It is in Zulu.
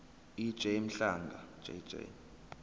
ej mhlanga jj